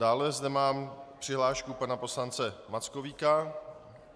Dále zde mám přihlášku pana poslance Mackovíka.